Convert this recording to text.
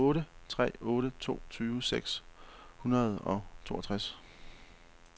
otte tre otte to tyve seks hundrede og toogtres